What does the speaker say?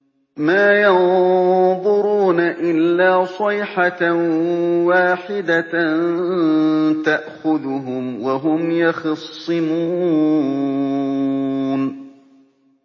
مَا يَنظُرُونَ إِلَّا صَيْحَةً وَاحِدَةً تَأْخُذُهُمْ وَهُمْ يَخِصِّمُونَ